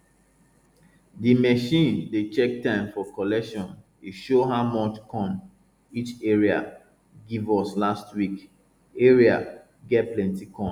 di machine dey check time for collection e show how much corn each area give us last week area get plenty corn